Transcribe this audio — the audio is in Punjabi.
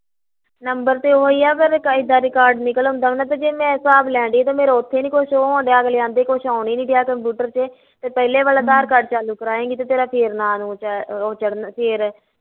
ਨਬਰ ਤੇ ਓਹੀ ਆ ਤੇ ਏਦਾਂ ਰਿਕਾਰਡ ਨਿਕਲ ਆਉਂਦਾ ਵਾ ਤੇ ਜੇ ਮੈਂ ਹਿਸਾਬ ਲੈਣ ਡਈ ਆ ਤੇ ਮੇਰਾ ਓਥੇ ਨੀ ਕੁਸ਼ ਹੋਣ ਡੀਆ ਅਗਲੇ ਕਹਿੰਦੇ ਕੁਸ਼ ਆਉਣ ਈ ਨੀ ਡੀਆ computer ਤੇ, ਪਹਿਲੇ ਵਾਲਾ ਅਧਾਰ ਕਾਰਡ ਚਾਲੂ ਕਰਵਾਏਗੀ ਤੇ ਤੇਰਾ ਫੇਰ ਨਾ ਨੂੰ ਚੜਨਾ ਫੇਰ ਆ